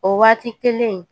O waati kelen